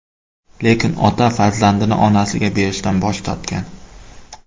Lekin ota farzandini onasiga berishdan bosh tortgan.